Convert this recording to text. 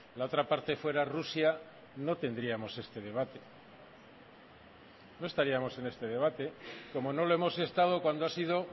la otra parte fuera rusia no tendríamos este debate no estaríamos en este debate como no lo hemos estado cuando ha sido